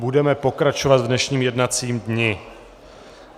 Budeme pokračovat v dnešním jednacím dni.